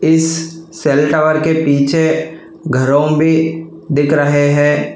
इस सेली टॉवर के पीछे घरों भी दिख रहे है।